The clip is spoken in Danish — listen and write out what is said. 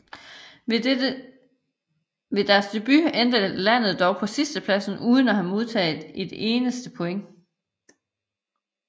Ved deres debut endte landet dog på en sidsteplads uden at have modtaget et eneste point